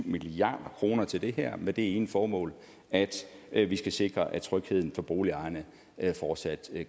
milliard kroner til det her med det ene formål at at vi skal sikre at trygheden for boligejerne fortsat